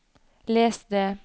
les det